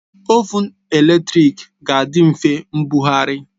Ovụn eletrik ga-adị mfe mbugharị